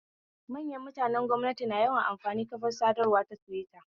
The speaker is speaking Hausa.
Manyan mutanen gwamnati na yawan amfani kafar sadarwa ta tiwita